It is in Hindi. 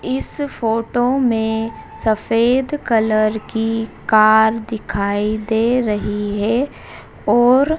इस फोटो में सफेद कलर की कार दिखाई दे रही है और--